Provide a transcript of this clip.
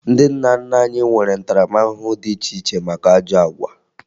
Ndị nna nna anyị nwere ntaramahụhụ dị iche iche maka ajọ àgwà